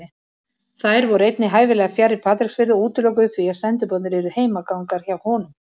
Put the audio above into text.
Þær voru einnig hæfilega fjarri Patreksfirði og útilokuðu því að sendiboðarnir yrðu heimagangar hjá honum.